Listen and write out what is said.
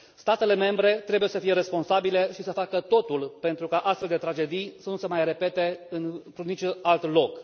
Statele membre trebuie să fie responsabile și să facă totul pentru ca astfel de tragedii să nu se mai repete în niciun alt loc.